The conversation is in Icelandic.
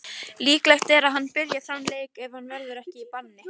Líklegt er að hann byrji þann leik ef hann verður ekki í banni.